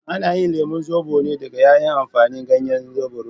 Ana yin lemon zobo ne daga tayin amfani ganyen zubarodo.